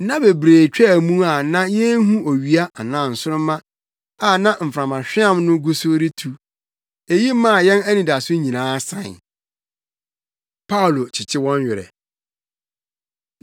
Nna bebree twaa mu a na yenhu owia anaa nsoromma a na mframahweam no gu so retu. Eyi maa yɛn anidaso nyinaa sae. Paulo Kyekye Wɔn Werɛ